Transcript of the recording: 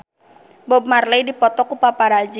Bob Marley dipoto ku paparazi